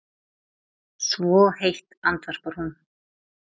Svo heitt, andvarpar hún.